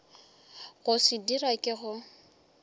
go se dira ke go